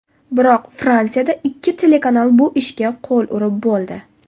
Biroq Fransiyada ikkita telekanal bu ishga qo‘l urib bo‘ldi.